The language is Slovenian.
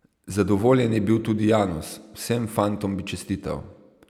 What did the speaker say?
Zadovoljen je bil tudi Janus: "Vsem fantom bi čestital.